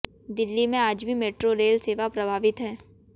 दिल्ली में आज भी मेट्रो रेल सेवा प्रभावित है